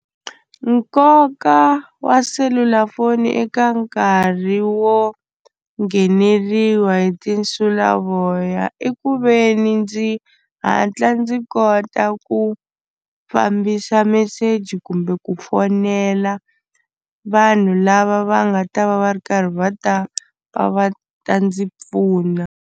Nkoka wa selulafoni eka nkarhi wo ngheneriwa hi tinsulavoya i ku ve ni ndzi hatla ndzi kota ku fambisa message kumbe ku fonela vanhu lava va nga ta va va ri karhi va ta va va ta ndzi pfuna.